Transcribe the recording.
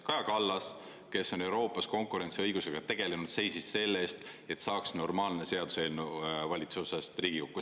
Kaja Kallas, kes on Euroopas konkurentsiõigusega tegelenud, seisis selle eest, et saaks normaalne seaduseelnõu valitsusest Riigikokku.